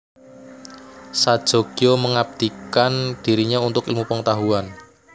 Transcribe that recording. Sajogyo mengabdikan dirinya untuk ilmu pengetahuan